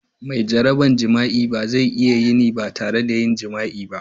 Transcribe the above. Mai jaraban jima'i ba zai iya yin ba tare da yin jima'i ba.